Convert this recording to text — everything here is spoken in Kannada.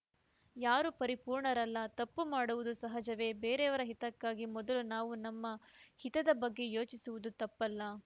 ಯಾರೂ ಪರಿಪೂರ್ಣರಲ್ಲ ತಪ್ಪು ಮಾಡುವುದು ಸಹಜವೇ ಬೇರೆಯವರ ಹಿತಕ್ಕಿಂತ ಮೊದಲು ನಾವು ನಮ್ಮ ಹಿತದ ಬಗ್ಗೆ ಯೋಚಿಸುವುದು ತಪ್ಪಲ್ಲ